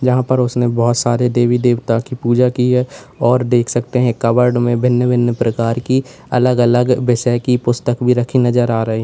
यहां पर उसने बहुत सारे देवी देवता की पूजा की है और देख सकते हैं कवर्ड में भिन्न भिन्न प्रकार की अलग अलग विषय की पुस्तक भी रखी नजर आ रही हैं।